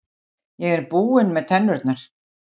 Ég er búinn með tennurnar.